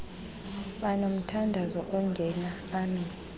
banomthandazo ongena amen